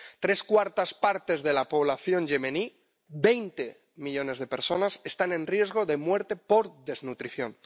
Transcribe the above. Tres cuartas partes de la población yemení —veinte millones de personas— están en riesgo de muerte por desnutrición.